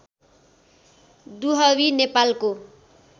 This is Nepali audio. दुहवी नेपालको